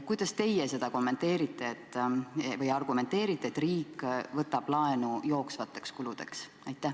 Kuidas teie seda kommenteerite või argumenteerite, et riik võtab laenu jooksvateks kuludeks?